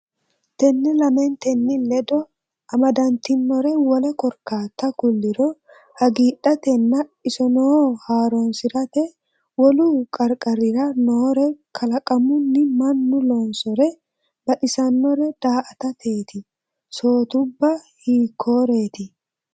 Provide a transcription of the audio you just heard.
Tenne lamentenni ledo amadantinore wole korkaatta kulliro hagiidhatenna isonoo haaroonsi’rate, wolu qarqarira noore kalaqamun mannu loonsore baxisannore daa”atateeti, sootubba hiikkoreeti?